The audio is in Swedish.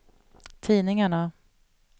tidningarna